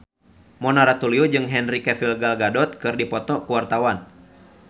Mona Ratuliu jeung Henry Cavill Gal Gadot keur dipoto ku wartawan